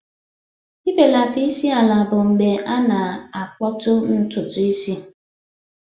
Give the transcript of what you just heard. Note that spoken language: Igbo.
Ibelata isi ala bụ mgbe a na-akputu ntutu isi.